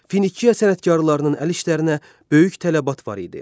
Finikiya sənətkarlarının əl işlərinə böyük tələbat var idi.